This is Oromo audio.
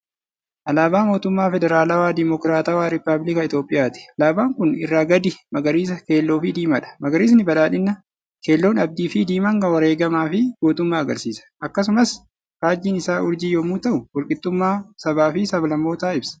Alaabaa mootummaa Federaalawaa Dimokiraatawaa Rippaabilika Itoophiyaati. Alaabaan kun irraa gadi magariisa, keelloo fi diimaadha. Magariisni badhaadhina, keelloon abdii fi diimaan wareegamaa fi gootummaa agarsiisa. Akkasumas faajjiin isaa urjii yommuu ta'u wal qaxxummaa sabaaf sablammootaa ibsa.